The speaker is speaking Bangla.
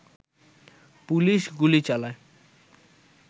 পুলিশ গুলি চালায়